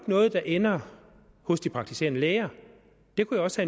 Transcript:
noget der ender hos de praktiserende læger jeg kunne også